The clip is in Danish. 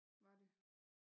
Var det